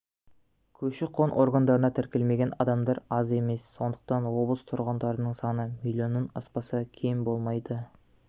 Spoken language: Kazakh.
көші-қон органдарына тіркелмеген адамдар да аз емес сондықтан облыс тұрғындарының саны миллионнан аспаса кем болмайды